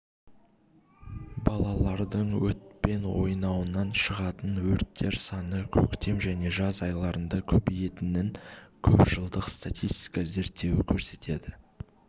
балалардың отпен ойнауынан шығатын өрттер саны көктем және жаз айларында көбейетінін көп жылдық статистика зерттеуі көрсетеді